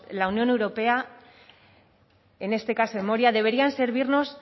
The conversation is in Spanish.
la unión europea en este caso en moria deberían servirnos